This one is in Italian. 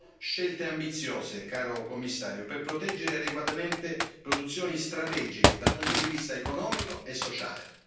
Servono scelte ambiziose, caro Commissario, per proteggere adeguatamente produzioni strategiche dal punto di vista economico e sociale.